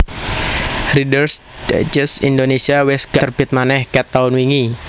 Readers Digest Indonesia wes gak terbit maneh ket taun wingi